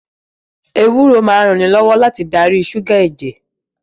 Ewúro máa ń ranilọ́wọ́ láti darí ṣúgà ẹ̀jẹ̀